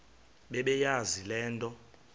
bebeyazi le nto